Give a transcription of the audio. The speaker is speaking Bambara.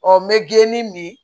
Ɔ n bɛ geeni min